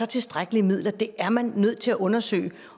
tilstrækkelige midler det er man nødt til at undersøge